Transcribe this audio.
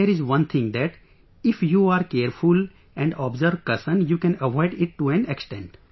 And there is one thing that, if you are careful and observe caution you can avoid it to an extent